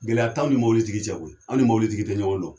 Gɛlɛya tan aw ni mobili tigi cɛ koyi an ni mobili tigi tɛ ɲɔgɔn dɔn